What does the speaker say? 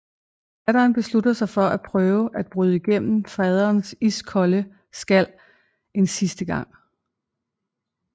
Datteren beslutter sig for at prøve at bryde igennem faderens iskolde skal en sidste gang